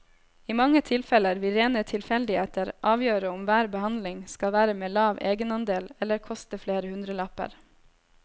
I mange tilfeller vil rene tilfeldigheter avgjøre om hver behandling skal være med lav egenandel eller koste flere hundrelapper.